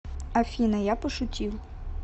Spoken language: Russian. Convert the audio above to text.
афина я пошутил